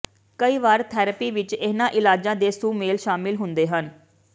ਕਈ ਵਾਰ ਥੈਰੇਪੀ ਵਿਚ ਇਹਨਾਂ ਇਲਾਜਾਂ ਦੇ ਸੁਮੇਲ ਸ਼ਾਮਲ ਹੁੰਦੇ ਹਨ